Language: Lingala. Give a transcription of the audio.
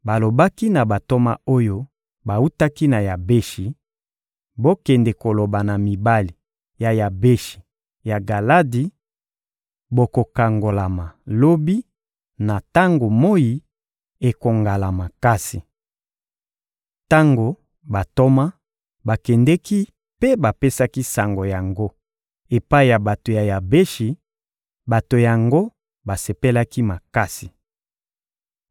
Balobaki na bantoma oyo bawutaki na Yabeshi: «Bokende koloba na mibali ya Yabeshi ya Galadi: ‹Bokokangolama lobi, na tango moyi ekongala makasi.›» Tango bantoma bakendeki mpe bapesaki sango yango epai ya bato ya Yabeshi, bato yango basepelaki makasi.